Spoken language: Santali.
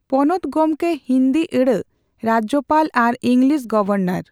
ᱯᱚᱱᱚᱛ ᱜᱚᱢᱠᱮ ᱦᱤᱸᱫᱤ ᱟᱹᱲᱟᱹ ᱨᱟᱡᱽᱭᱚᱯᱟᱞ ᱟᱨ ᱤᱝᱞᱤᱥ ᱜᱚᱣᱟᱨᱱᱟᱨ